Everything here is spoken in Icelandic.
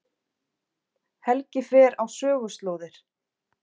Helgi fer á söguslóðir